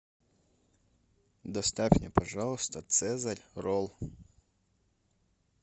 доставь мне пожалуйста цезарь ролл